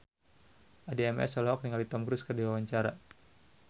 Addie MS olohok ningali Tom Cruise keur diwawancara